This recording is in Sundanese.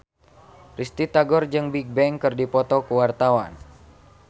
Risty Tagor jeung Bigbang keur dipoto ku wartawan